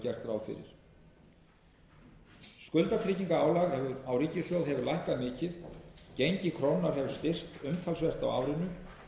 fyrir skuldatryggingarálag á ríkissjóð hefur lækkað mikið gengi krónunnar hefur styrkst umtalsvert á árinu